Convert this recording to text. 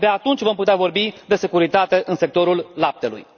Abia atunci vom putea vorbi de securitate în sectorul laptelui.